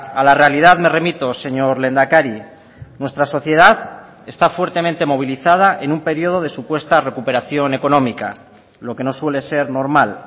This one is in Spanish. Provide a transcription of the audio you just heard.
a la realidad me remito señor lehendakari nuestra sociedad está fuertemente movilizada en un periodo de supuesta recuperación económica lo que no suele ser normal